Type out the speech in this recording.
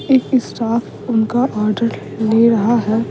एक स्टाफ उनका ऑर्डर ले रहा है।